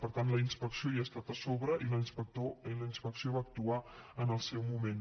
per tant la inspecció hi ha estat a sobre i la inspecció va actuar en el seu moment